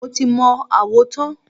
Mo ti mọ àwo tán.